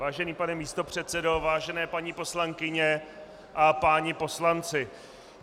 Vážený pane místopředsedo, vážené paní poslankyně a páni poslanci.